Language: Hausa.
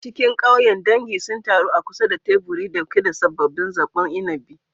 A cikin ƙauyen, dangi sun taru a kusa da teburi ɗauke da sabbin zaɓaɓɓun inabi.